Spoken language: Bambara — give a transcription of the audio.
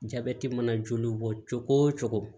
Jabɛti mana joli bɔ cogo o cogo